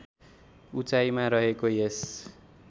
उचाइमा रहेको यस